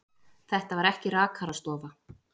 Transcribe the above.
Þetta var ekki rakarastofa.